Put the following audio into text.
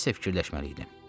Nəsə fikirləşməliydim.